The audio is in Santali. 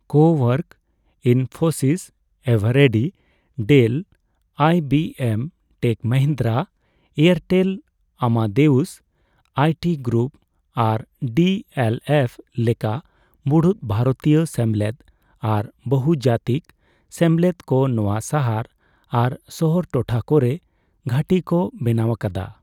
ᱠᱳᱣᱟᱨᱠ, ᱤᱱᱯᱷᱳᱥᱤᱥ, ᱮᱵᱷᱨᱤ, Dell, I B M, Tech Mahindra, Airtel, Amadeus I T group ᱟᱨ ᱰᱤ ᱮᱞ ᱮᱯᱷ ᱞᱮᱠᱟ ᱢᱩᱲᱩᱛᱵᱷᱟᱨᱚᱛᱤᱭᱚ ᱥᱮᱢᱞᱮᱫ ᱟᱨ ᱵᱚᱦᱩᱡᱟᱛᱤᱠ ᱥᱮᱢᱞᱮᱫ ᱠᱚ ᱱᱚᱣᱟ ᱥᱟᱦᱟᱨ ᱟᱨ ᱥᱚᱦᱚᱨ ᱴᱚᱴᱷᱟ ᱠᱚᱨᱮ ᱜᱷᱟᱹᱴᱤ ᱠᱚ ᱵᱮᱱᱟᱣ ᱟᱠᱟᱫᱟ ᱾